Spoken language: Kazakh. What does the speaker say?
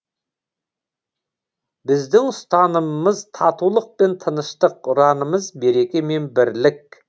біздің ұстанымымыз татулық пен тыныштық ұранымыз береке мен бірлік